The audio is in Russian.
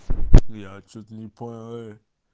я что-то не понял э